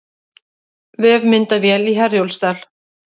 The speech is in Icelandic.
Vefmyndavél í Herjólfsdal